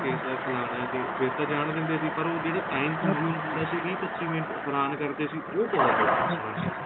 case ਏ ਫਲਾਨਾ ਏ ਫ਼ੇਰ ਤਾਂ ਜਾਣ ਦਿੰਦੇ ਸੀ ਪਰ ਉਹ ਜਿਹੜਾ time problem ਹੁੰਦਾ ਸੀ ਵੀਹ ਪੱਚੀ ਮਿੰਟ ਹੈਰਾਨ ਕਰਦੇ ਸੀ ਉਹ ਬਹੁਤ ਪਰੇਸ਼ਾਨੀ ਹੈ ਜੀ